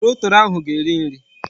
Torotoro ahu ga-eri nri